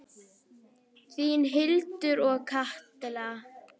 Þínar Hildur og Katla.